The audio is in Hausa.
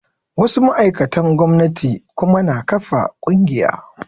Wasu ma'aikatan gomnati kuma na ƙafa ƙungiya